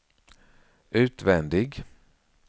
utvändig